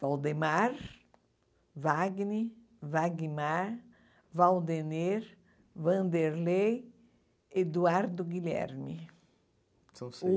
Valdemar, Wagner, Wagmar, Valdener, Vanderlei, Eduardo Guilherme. São seis